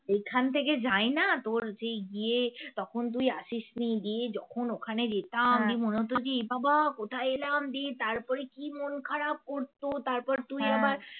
এইখান থেকে যাই না তোর যেই গিয়ে তখন তুই আসিসনি গিয়ে যখন ওখানে যেতাম এ বাবা কোথায় এলাম দিয়ে তারপরে কি মন খারাপ করতো তারপর তুই আবার